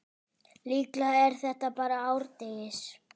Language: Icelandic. Líklega er þetta bara árdegis